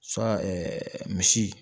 misi